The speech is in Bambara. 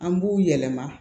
An b'u yɛlɛma